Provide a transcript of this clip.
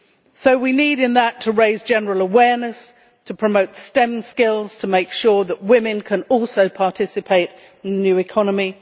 So we need to raise general awareness, to promote stem skills and to make sure that women can also participate in the new economy.